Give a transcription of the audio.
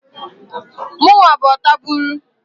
Mụnwa bụ ọtabụlụ.